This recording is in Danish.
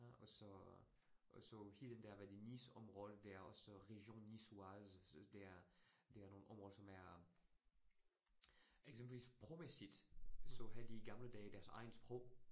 Øh og så og så hele den der hvad det Nice området der er også Region Nicoise, så der der nogle områder som er eksempelvis sprogmæssigt, så havde de i gamle dage deres eget sprog